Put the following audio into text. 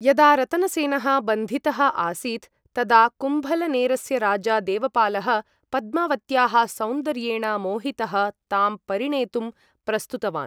यदा रतनसेनः बन्धितः आसीत्, तदा कुम्भलनेरस्य राजा देवपालः, पद्मावत्याः सौन्दर्येण मोहितः तां परिणेतुं प्रस्तुतवान्।